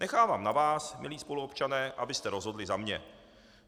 Nechávám na vás, milí spoluobčané, abyste rozhodli za mě.